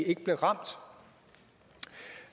ikke blev ramt